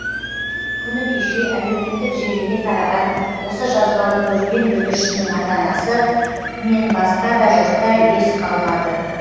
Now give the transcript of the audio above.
күні кеше әлеуметтік желіге тараған осы жазбаны көрген бүлдіршіннің ата анасы мен басқа да жұртта ес қалмады